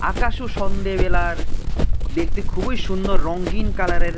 সন্ধ্যাবেলার দেখতে খুবই সুন্দর রঙিন কালারের--